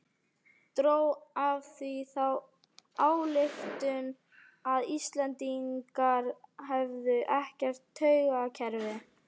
Dró af því þá ályktun að Íslendingar hefðu ekkert taugakerfi.